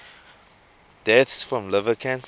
deaths from liver cancer